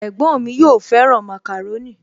Ẹ̀gbọ́n mi yóò fẹ́ràn màkàrónì